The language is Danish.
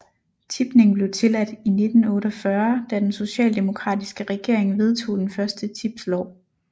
Tipning blev tilladt i 1948 da den socialdemokratiske regering vedtog den første tipslov